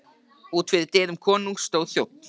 Úti fyrir dyrum konungs stóð þjónn.